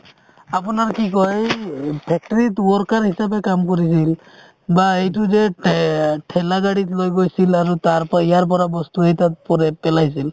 আপোনাৰ কি কই এই factory ত worker হিচাপে কাম কৰিছিল বা এইটো যে তে~ ঠেলা গাড়ীত লৈ গৈছিল আৰু তাৰপাই ইয়াৰ পৰা বস্তু এই তাত পৰে পেলাইছিল